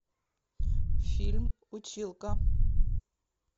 фильм училка